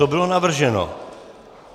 To bylo navrženo.